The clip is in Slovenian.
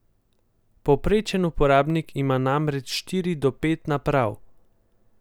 Povprečen uporabnik ima namreč štiri do pet naprav.